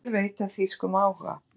Oddur veit af þýskum áhuga